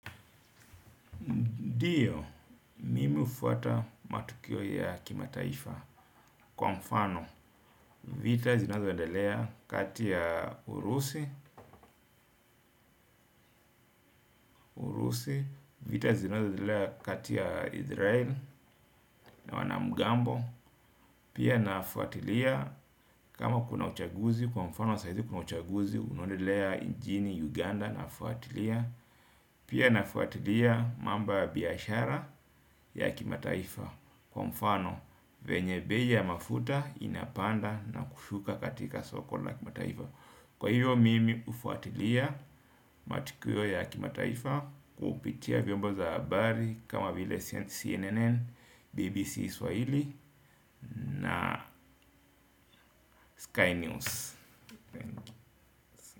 Ndio, mimi hufuata matukio ya kimataifa kwa mfano, vita zinazoendelea kati ya Urusi, vita zinazoendelea kati ya Israel na wanamgambo, pia nafuatilia kama kuna uchaguzi, kwa mfano saizi kuna uchaguzi, unodelea nchini Uganda nafuatilia, pia nafuatilia mambo ya biashara ya kimataifa kwa mfano, venye being ya mafuta inapanda na kushuka katika soko la kimataifa. Kwa hivyo mimi hufuatilia matukio ya kimataifa. Kupitia vyombo za habari kama vile CNN, BBC Swahili na Sky News.